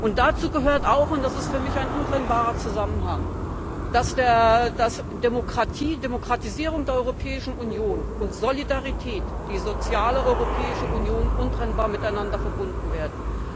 Und dazu gehört auch das ist für mich ein untrennbarer Zusammenhang dass Demokratie, Demokratisierung der Europäischen Union und Solidarität, die soziale Europäische Union untrennbar miteinander verbunden werden.